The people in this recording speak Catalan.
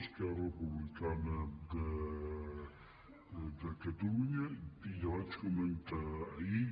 esquerra republicana de catalunya ja ho vaig comentar ahir